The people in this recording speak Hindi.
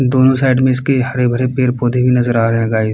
दोनो साइड से इसके हरे-भरे पेड़-पौधे भी नजर आ रहे हैं गाइस --